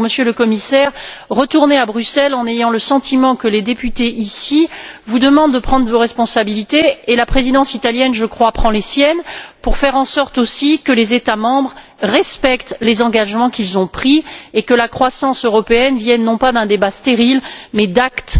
Par conséquent, Monsieur le Commissaire, retournez à Bruxelles en ayant le sentiment que les députés, ici, vous demandent de prendre vos responsabilités la Présidence italienne, je crois, prend les siennes pour faire en sorte que les États membres respectent les engagements qu'ils ont pris et que la croissance européenne vienne non pas d'un débat stérile mais d'actes